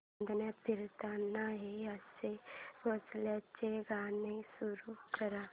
चांदण्यात फिरताना हे आशा भोसलेंचे गाणे सुरू कर